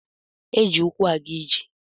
Eji ukwu aga ije.